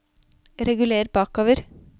reguler bakover